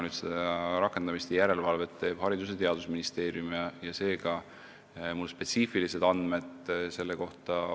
Rakendamise ja järelevalvega tegeleb Haridus- ja Teadusministeerium, seega mul puuduvad spetsiifilised andmed selle kohta.